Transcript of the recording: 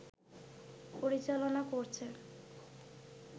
পরিচালনা করছে